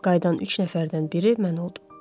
Qayıdan üç nəfərdən biri mən oldum.